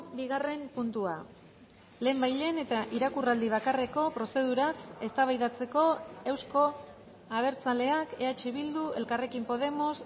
bigarren puntua lehenbailehen eta irakurraldi bakarreko prozeduraz eztabaidatzeko euzko abertzaleak eh bildu elkarrekin podemos